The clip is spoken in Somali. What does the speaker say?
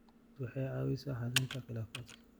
Diiwaangelintu waxay caawisaa xallinta khilaafaadka.